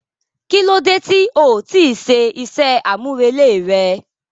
Kilode ti o ti ṣe iṣẹ amurele rẹ?